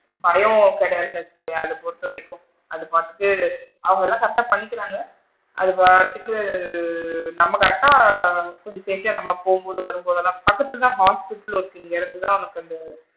அதுவும் கிடையாதுன்னு வச்சுக்கோயேன் அது பொறுத்தவரைக்கும் அது பாத்து அவுங்களா correct டா பண்ணிகிறாங்க அது பாட்டுக்கு நம்ம correct டா நம்ம போகும்போது வரும்போதுலா பக்கத்துல தான் ஹாஸ்பிடல் இருக்கு இங்க இருந்து தான் ஒரு,